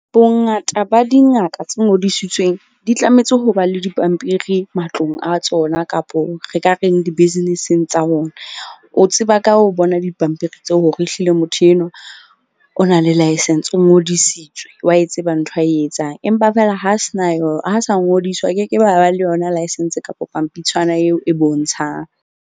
Bongata ba dingaka tse ngodisitsweng di tlametse ho ba le dipampiri matlong a tsona, kapo re ka reng di-business-eng tsa bona. O tseba ka ho bona dipampiri tseo, hore ehlile motho enwa o na le laesense, o ngodisitswe, wa e tseba ntho a e etsang. Empa fela ha se na ha sa ngodiswa a ke ke be a ba le yona license kapa pampitshwana eo e bontshang.